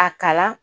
A kalan